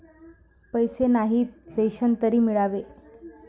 पैसे नाहीत, रेशन तरी मिळावे